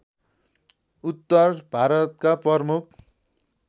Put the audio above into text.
उत्‍तर भारतका प्रमुख